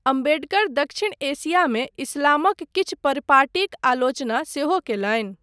अम्बेडकर दक्षिण एशियामे इस्लामक किछु परिपाटीक आलोचना सेहो कयलनि।